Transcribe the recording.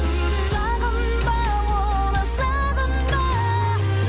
сағынба оны сағынба